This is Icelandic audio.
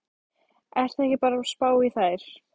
Ertu ekki bara að spá í þær?